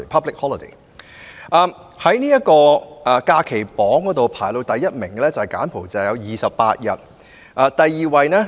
在公眾假期榜上，排名首位的是柬埔寨，有28日......